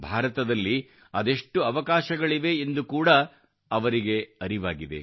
ಭಾರತದಲ್ಲಿ ಅದೆಷ್ಟು ಅವಕಾಶಗಳಿವೆ ಎಂದು ಕೂಡಾ ಅವರಿಗೆ ಅರಿವಾಗಿದೆ